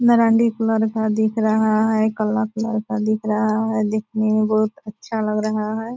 Marandi colour का दिख रहा है काला कलर का दिख रहा है देखने में बहुत अच्छा लग रहा हैं।